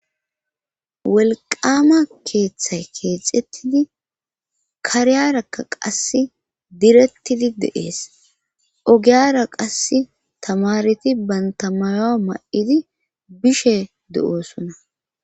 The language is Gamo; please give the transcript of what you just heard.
Wolqama keeththay keexettidi kariyarakka qasse direttidi de7ees ogiyara qasse tamareti bantta mayo ma7idi bishe de7oosona.